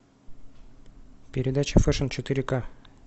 передача фэшн четыре к